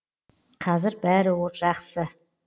қазір бәрі жақсы